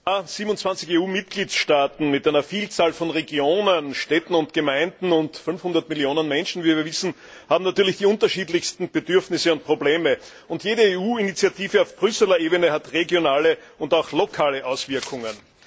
Herr Präsident! 27 EU Mitgliedstaaten mit einer Vielzahl von Regionen, Städten und Gemeinden und 500 Millionen Menschen, wie wir wissen, haben natürlich die unterschiedlichsten Bedürfnisse und Probleme, und jede EU Initiative auf Brüsseler Ebene hat regionale und auch lokale Auswirkungen.